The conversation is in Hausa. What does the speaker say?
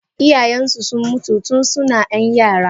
Iyayensu sun mutu tun suna yan yara.